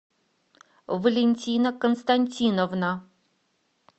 валентина константиновна